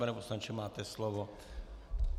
Pane poslanče, máte slovo.